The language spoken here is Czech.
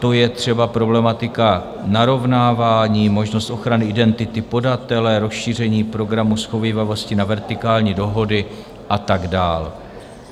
To je třeba problematika narovnávání, možnost ochrany identity podatele, rozšíření programu shovívavosti na vertikální dohody a tak dál.